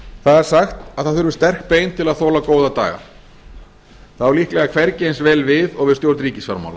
það er sagt að það þurfi sterk bein til að þola góða daga það á líklega hvergi eins vel við og við stjórn ríkisfjármála